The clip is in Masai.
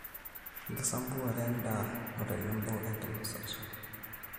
Enkisampuare en`daa otenebo enkinosata .